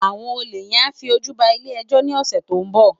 Awòn ólé yèn á fi ójú bá ilé èjò ni òsè tó n bò